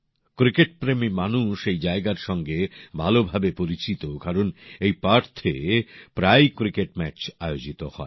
ক্রিকেটপ্রেমী মানুষ এই জায়গার সঙ্গে ভালোভাবে পরিচিত কারণ পার্থে প্রায়ই ক্রিকেট ম্যাচ আয়োজিত হয়